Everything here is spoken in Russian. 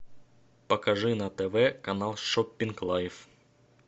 покажи на тв канал шопинг лайф